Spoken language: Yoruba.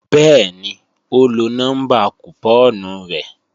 Bẹ́ẹ̀ni ó lọ nọ́mbà kùpọ́ọ̀nù rẹ̀